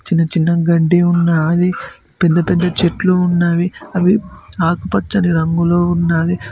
చిన్న చిన్న గడ్డి ఉన్నాది పెద్ద పెద్ద చెట్లు ఉన్నవి అవి ఆకుపచ్చని రంగులో ఉన్నాది.